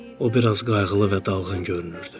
O biraz qayğılı və dalğın görünürdü.